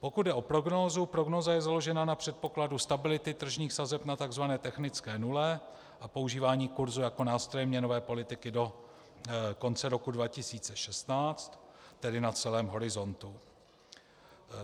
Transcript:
Pokud jde o prognózu, prognóza je založena na předpokladu stability tržních sazeb na tzv. technické nule a používání kursu jako nástroje měnové politiky do konce roku 2016, tedy na celém horizontu.